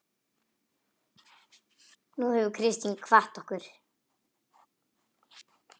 Nú hefur Kristín kvatt okkur.